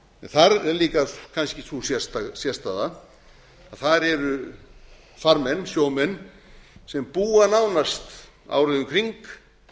þar er líka sú sérstaða að þar eru farmenn sjómenn sem búa nánast árið um kring